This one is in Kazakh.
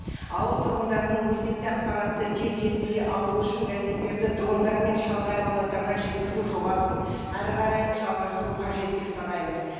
ауыл тұрғындарының өзекті ақпаратты деп кезінде алу үшін газеттерді дрондармен шалғай аудандарға жеткізу жобасын әрі қарай жалғастыру қажет деп санаймыз